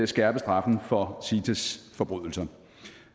skærpe straffen for cites forbrydelser